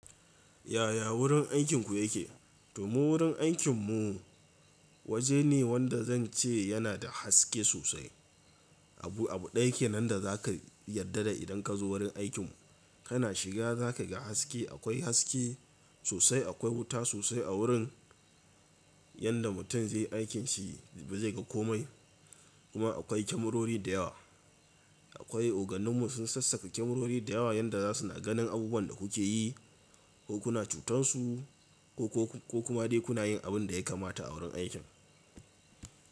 Yaya wurin aikin ku yake? Mu wurin aikin mu waje ne wanda zan ce yana da haske sosai. Abu, abu ɗaya kenan da za ka yarda da idan ka zo wurin aikin mu, kana shiga za ka ga haske, akwai haske sosai, akwai wuta sosai a wurin. Yanda mutum zai yi aikin shi ba zai ga komai. Kuma akwai kyamarori da yawa. Akwai, oganin mu sun sassaƙa kyamarori da yawa yanda za su na ganin abubuwan da ku ke yi ko kuna cutan su ko, ko kuma dai kuna yin abin da ya kamata a wurin aikin.